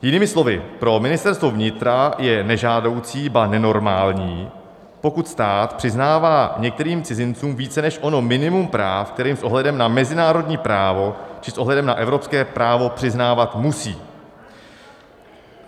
- Jinými slovy, pro Ministerstvo vnitra je nežádoucí, ba nenormální, pokud stát přiznává některým cizincům více než ono minimum práv, které s ohledem na mezinárodní právo či s ohledem na evropské právo přiznávat musí.